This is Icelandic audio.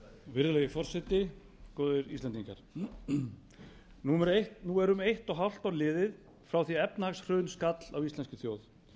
virðulegi forseti góðir íslendingar nú er um eitt og hálft ár liðið frá því efnahagshrun skall á íslenskri þjóð